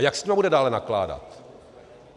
A jak s nimi bude dále nakládat?